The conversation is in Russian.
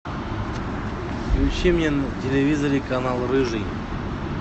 включи мне на телевизоре канал рыжий